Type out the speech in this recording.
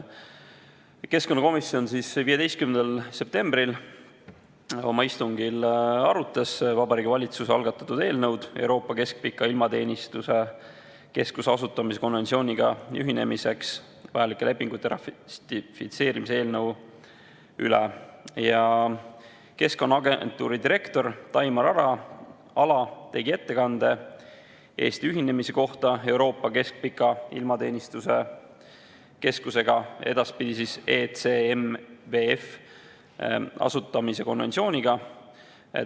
Keskkonnakomisjon arutas oma 15. septembri istungil Vabariigi Valitsuse algatatud Euroopa Keskpika Ilmateenistuse Keskuse asutamise konventsiooniga ühinemiseks vajalike lepingute ratifitseerimise eelnõu ja Keskkonnaagentuuri direktor Taimar Ala tegi ettekande Eesti ühinemise kohta Euroopa Keskpika Ilmateenistuse Keskusega, edaspidi ECMWF, asutamise konventsiooniga.